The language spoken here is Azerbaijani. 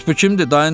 Bəs bu kimdir?